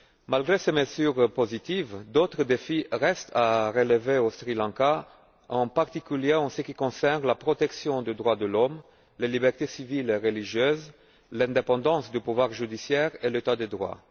Malgré ces mesures positives, d'autres défis restent à relever au Sri Lanka, en particulier en ce qui concerne la protection des droits de l'homme, les libertés civiles et religieuses, l'indépendance du pouvoir judiciaire et l'état de droit.